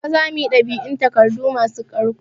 Daga gobe zamuyi dab'in takardu masu ƙarko